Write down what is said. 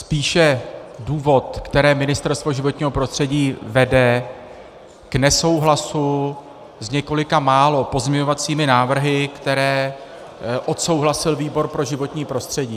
spíše důvod, který Ministerstvo životního prostředí vede k nesouhlasu s několika málo pozměňovacími návrhy, které odsouhlasil výbor pro životní prostředí.